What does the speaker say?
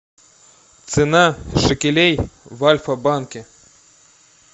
цена шекелей в альфа банке